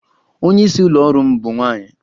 Onye isi ụlọ ọrụ m bụ nwanyị